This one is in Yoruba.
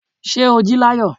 Ṣé o jí láyọ̀.